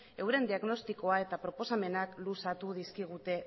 euren diagnostikoa eta proposamenak luzatu dizkigute